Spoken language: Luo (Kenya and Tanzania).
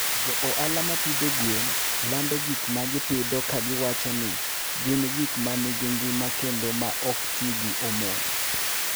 Jo ohala ma pidho gwen lando gik ma gipidho ka giwacho ni gin gik ma nigi ngima kendo ma ok ti gi hormone.